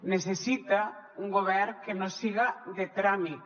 necessita un govern que no siga de tràmit